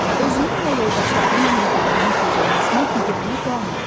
Özünün və yoldaşlarının hüquqlarının pozulmasına biganə qalma.